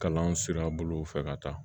Kalan sira bolo fɛ ka taa